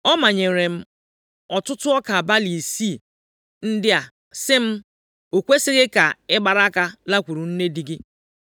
“Ọ manyeere m ọtụtụ ọka balị isii ndị a si m, ‘O kwesighị ka ị gbara aka lakwuru nne di gị.’ ”